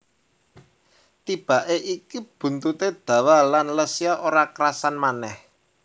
Tibake iki buntute dawa lan Lesya ora kerasan manèh